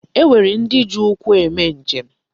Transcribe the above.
E nwere ndị ji ụkwụ eme njem.